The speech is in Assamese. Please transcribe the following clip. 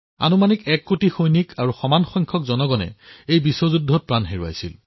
আনুমানিক ১ কোটি সৈনিক আৰু সিমান পৰিমাণৰ নাগৰিকে নিজৰ জীৱন হেৰুৱাইছিল